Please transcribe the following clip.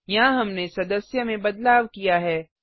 यहाँ हमने सदस्य में बदलाव किया है